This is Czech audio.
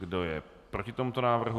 Kdo je proti tomuto návrhu?